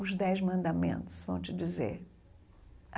Os Dez Mandamentos vão te dizer.